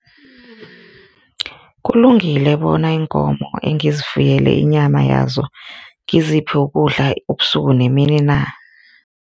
Kulungile bona iinkomo engizifuyele inyama yazo ngiziphi ukudla ubusuku nemini na?